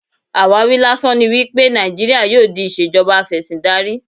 Àwáwí lásán ni wípé Nàìjíríà yóò di ìṣèjọba afẹ́síndarí.